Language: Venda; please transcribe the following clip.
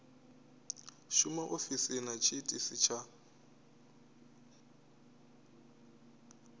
shuma ofisini na tshiitisi tsha